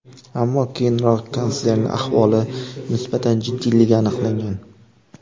Ammo keyinroq kanslerning ahvoli nisbatan jiddiyligi aniqlangan.